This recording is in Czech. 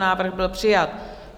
Návrh byl přijat.